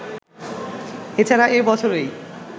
এ ছাড়া এ বছরই